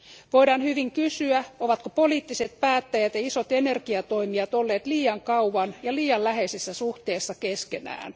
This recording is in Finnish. Voidaan hyvin kysyä, ovatko poliittiset päättäjät ja isot energiatoimijat olleet liian kauan ja liian läheisessä suhteessa keskenään?